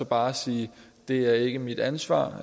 bare sige det er ikke mit ansvar